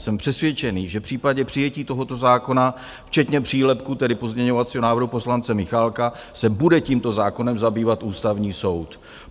Jsem přesvědčený, že v případě přijetí tohoto zákona, včetně přílepku, tedy pozměňovacího návrhu poslance Michálka, se bude tímto zákonem zabývat Ústavní soud.